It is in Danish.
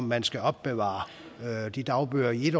man skal opbevare de dagbøger i